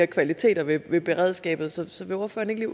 kvaliteter ved beredskabet så så vil ordføreren ikke